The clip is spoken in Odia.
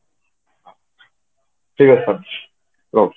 ଠିକ ଅଛି ତାହାଲେ ରହୁଛି